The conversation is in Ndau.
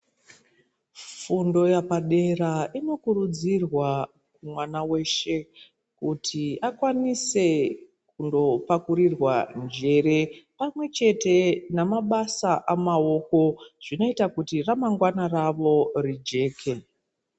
Fundo yepadera inokurudzirwa mwana weshe kuti akwanise kundopakurirwa njere pamwe chete nemabasa amaoko zvinoita kuti ramangwana ravo rijeke.